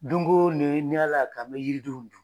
Dongo ni Ala y'a kɛ an mɛ yiridenw dun.